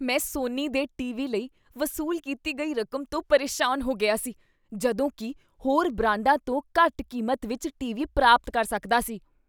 ਮੈਂ ਸੋਨੀ ਦੇ ਟੀਵੀ ਲਈ ਵਸੂਲ ਕੀਤੀ ਗਈ ਰਕਮ ਤੋਂ ਪਰੇਸ਼ਾਨ ਹੋ ਗਿਆ ਸੀ ਜਦੋਂ ਕੀ ਹੋਰ ਬ੍ਰਾਂਡਾਂ ਤੋਂ ਘੱਟ ਕੀਮਤ ਵਿੱਚ ਟੀਵੀ ਪ੍ਰਾਪਤ ਕਰ ਸਕਦਾ ਸੀ।